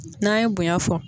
N'an ye bonya fɔ.